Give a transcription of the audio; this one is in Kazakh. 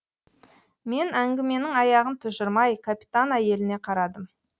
мен әңгіменің аяғын тұжырмай капитан әйеліне қарадым